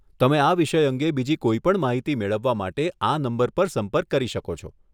તમે આ વિષય અંગે બીજી કોઈ પણ માહિતી મેળવવા માટે આ નંબર પર સંપર્ક કરી શકો છો.